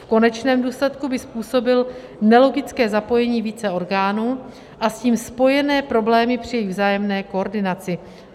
V konečném důsledku by způsobil nelogické zapojení více orgánů a s tím spojené problémy při jejich vzájemné koordinaci.